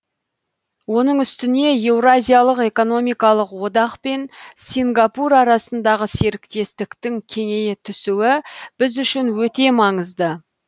оның үстіне еуразиялық экономикалық одақ пен сингапур арасындағы серіктестіктің кеңейе түсуі біз үшін өте маңызды